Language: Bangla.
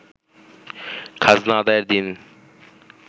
খাজনা আদায়ের দিন